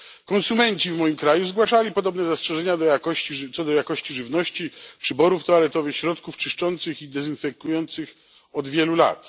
Konsumenci w moim kraju zgłaszali podobne zastrzeżenia co do jakości żywności, przyborów toaletowych, środków czyszczących i dezynfekujących od wielu lat.